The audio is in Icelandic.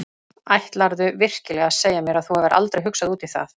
Ætlarðu virkilega að segja mér að þú hafir aldrei hugsað út í það?